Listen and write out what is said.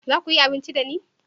za ku yi abinci da ni?